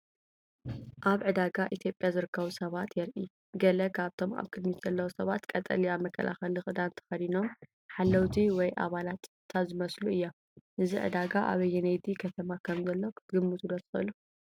ኣብ ዕዳጋ ኢትዮጵያ ዝርከቡ ሰባት የርኢ። ገለ ካብቶም ኣብ ቅድሚት ዘለዉ ሰባት ቀጠልያ መከላኸሊ ክዳን ተኸዲኖም ሓለውቲ ወይ ኣባላት ጸጥታ ዝመስሉ እዮም። እዚ ዕዳጋ ኣብ ኣየነይቲ ከተማ ከም ዘሎ ክትግምቱ ዶ ትኽእሉ?